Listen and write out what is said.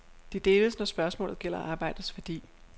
De deles, når spørgsmålet gælder arbejdets værdi.